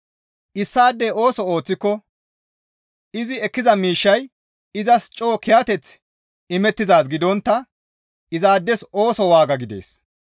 Issaadey ooso ooththiko izi ekkiza miishshay izas coo kiyateth imettizaaz gidontta izaades ooso waaga gidees.